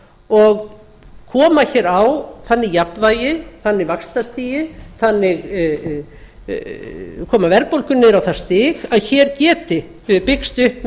og koma á þannig jafnvægi þannig vaxtastigi koma verðbólgunni niður á það stig að hér geti byggst upp